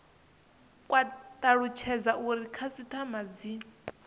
kwa talutshedza uri khasitama dzi